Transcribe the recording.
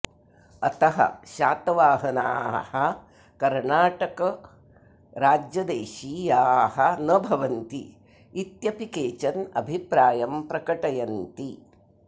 अतः शातवाहनाः कर्णाटकराज्यदेशीयाः न भवन्ति इत्यपि केचन अभिप्रायं प्रकटयन्ति